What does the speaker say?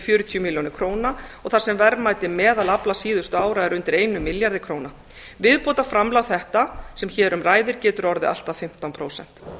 fjörutíu milljónir króna og þar sem verðmæti meðalafla síðustu ára er undir einum milljarði króna viðbótarframlag þetta sem hér um ræðir getur orðið allt að fimmtán prósent